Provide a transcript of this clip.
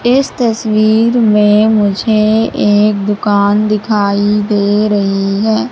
इस तस्वीर में मुझे एक दुकान दिखाई दे रही हैं।